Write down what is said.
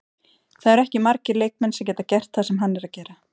Það eru ekki margir leikmenn sem geta gert það sem hann er að gera.